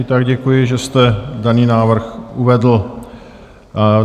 I tak děkuji, že jste daný návrh uvedl.